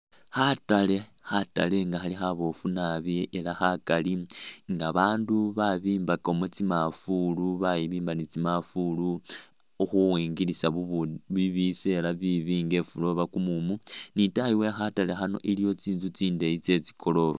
Khatale, khatale nga khali khaboofu nabi ela khakali nga babandu babimbakamu tsimafulu bayimbiba ni tsimafulu ukhuyingirisa bu bu bi bisela bibi nga efula oba kumumu ,ni itaayi we khatale khano iliyo tsinzu tsindeyi tse tsigoroofa